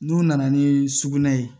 N'u nana ni sugunɛ ye